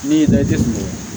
Min y'i lajɛ kun ye